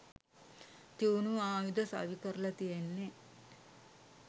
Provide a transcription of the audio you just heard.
තියුණු ආයුධ සවිකරල තියෙන්නෙ..